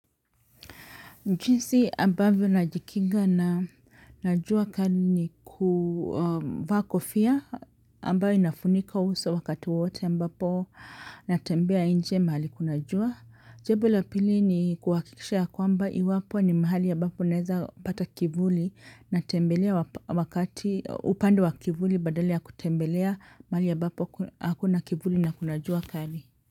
Jinsi ambavyo najikinga na jua kali ni kuvaa kofia ambayo inafunika uso wakati wote ambapo na tembea nje mahali kuna jua. Jibu la pili ni kuhakikisha ya kwamba iwapo ni mahali ya ambapo naeza pata kivuli na tembelea wakati upande wa kivuli badala ya kutembelea mahali ambapo hakuna kivuli na kunajua kali.